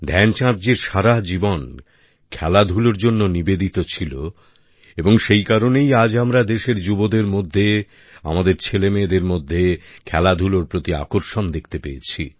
ধ্যানচাঁদজির সারা জীবন খেলাধুলার জন্য সমর্পিত ছিল এবং সেই কারণেই আজ আমরা দেশের যুবদের মধ্যে আমাদের ছেলেমেয়েদের মধ্যে খেলাধুলার প্রতি আকর্ষণ দেখতে পেয়েছি